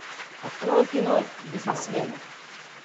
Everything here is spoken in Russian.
открой кино бизнесмены